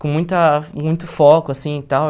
Com muita muito foco, assim, e tal.